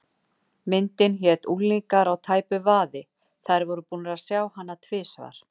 Myndin hét Unglingar á tæpu vaði, þær voru búnar að sjá hana tvisvar.